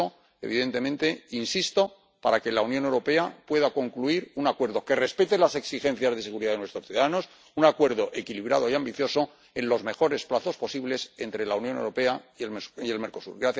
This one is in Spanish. Por eso, evidentemente, insisto para que la Unión Europea pueda concluir un acuerdo que respete las exigencias de seguridad de nuestros ciudadanos, un acuerdo equilibrado y ambicioso en los mejores plazos posibles entre la Unión Europea y el Mercosur.